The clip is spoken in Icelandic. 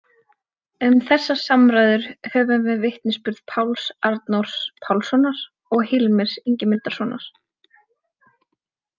Um þessar samræður höfum við vitnisburði Páls Arnórs Pálssonar og Hilmars Ingimundarsonar.